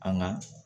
An ka